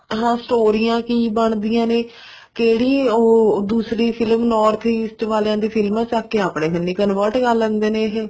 ਹਾਂ ਸਟੋਰੀਆਂ ਕੀ ਬਣਦੀਆਂ ਨੇ ਕਿਹੜੀ ਉਹ ਦੂਸਰੀ ਫਿਲਮ north east ਆਲਿਆਂ ਦੀਆਂ ਫ਼ਿਲਮਾ ਚੱਕ ਕੇ ਆਪਣੇ ਕੰਨੀ convert ਕਰ ਲੈਂਦੇ ਨੇ ਇਹ